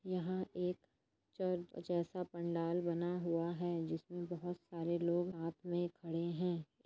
यह एक चर्च जैसा पन्डाल बना हुआ है जिसमे बहोत सारे लोग साथ मे खड़े है।